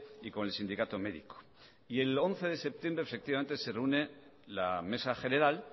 y con el sindicato médico y el once de septiembre efectivamente se reúne la mesa general